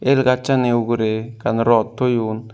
el gachani ugurey ekkan rod thoyun.